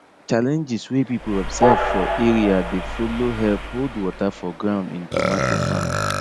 challenges wey people observe for area dey follow help hold water for ground in tomato farming